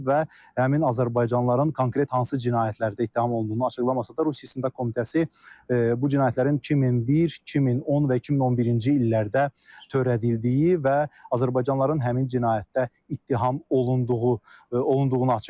Və həmin azərbaycanlıların konkret hansı cinayətlərdə ittiham olunduğunu açıqlamasa da, Rusiya İstintaq Komitəsi bu cinayətlərin 2001, 2010 və 2011-ci illərdə törədildiyi və azərbaycanlıların həmin cinayətdə ittiham olunduğu olunduğunu açıqlayıb.